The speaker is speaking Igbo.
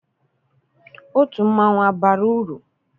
Otu mmanwụ abara uru?